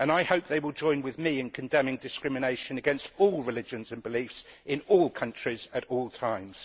I hope they will join with me in condemning discrimination against all religions and beliefs in all countries at all times.